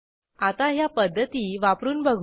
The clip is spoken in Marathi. आता ह्या पध्दती वापरून बघू